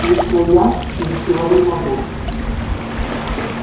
лично я ничего не могу